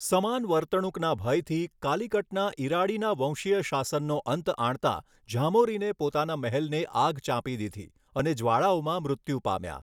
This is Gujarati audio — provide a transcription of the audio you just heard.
સમાન વર્તણૂકના ભયથી, કાલિકટના ઇરાડીના વંશીય શાસનનો અંત આણતા ઝામોરીને પોતાના મહેલને આગ ચાંપી દીધી અને જ્વાળાઓમાં મૃત્યુ પામ્યા.